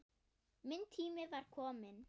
Minn tími var kominn.